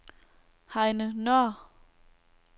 Heine Nøhr